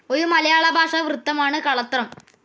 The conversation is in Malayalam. ഒരു മലയാള ഭാഷാ വൃത്തമാണ് കളത്രം.